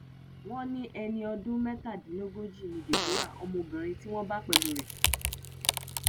wọn ní ẹni ọdún mẹtàdínlógójì ni deborah ọmọbìnrin tí wọn bá pẹlú rẹ